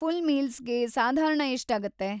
Full ಮೀಲ್ಸ್‌ಗೆ ಸಾಧಾರಣ ಎಷ್ಟಾಗತ್ತೆ?